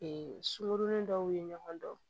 sunkurunin dɔw ye ɲɔgɔn dɔn